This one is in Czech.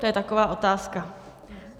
To je taková otázka.